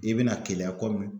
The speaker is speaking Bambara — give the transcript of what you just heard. I bɛna Keleya kɔmi